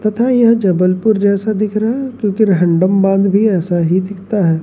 तथा यह जबलपुर जैसा दिख रहा है क्योंकि रिहांडम बांध भी ऐसा ही दिखता है।